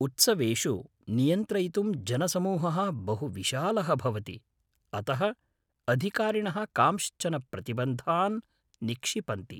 उत्सवेषु, नियन्त्रयितुं जनसमूहः बहुविशालः भवति, अतः अधिकारिणः कांश्चन प्रतिबन्धान् निक्षिपन्ति।